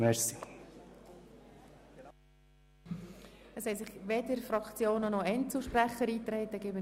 Es haben sich weder weitere Fraktions- noch Einzelsprecher in die Rednerliste eingetragen.